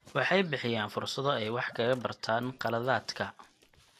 Waxay bixiyaan fursado ay wax kaga bartaan khaladaadka.